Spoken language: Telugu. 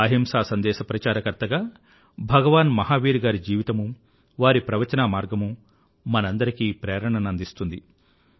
అహింసా సందేశ ప్రచారకర్తగా భగవాన్ మహావీర్ గారి జీవితమూ వారి ప్రవచనా మార్గమూ మనందరికీ ప్రేరణను అందిస్తుంది